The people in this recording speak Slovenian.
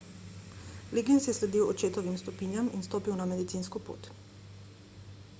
liggins je sledil očetovim stopinjam in stopil na medicinsko pot